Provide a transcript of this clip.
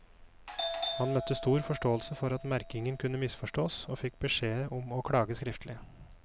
Han møtte stor forståelse for at merkingen kunne misforstås, og fikk beskjed om å klage skriftlig.